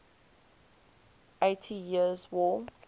eighty years war